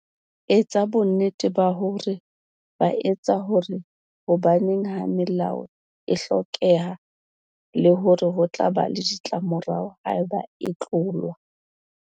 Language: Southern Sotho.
Etsa bonnete ba hore ba a tseba hore hobaneng ha melao e hlokeha le hore ho tla ba le ditlamorao haeba ba e tlola.